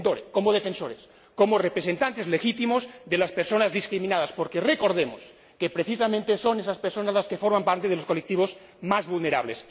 como defensores, como representantes legítimos de las personas discriminadas, porque recordemos que, precisamente, son estas personas las que forman parte de los colectivos más vulnerables.